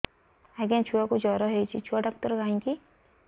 ଆଜ୍ଞା ଛୁଆକୁ ଜର ହେଇଚି ଛୁଆ ଡାକ୍ତର କାହିଁ କି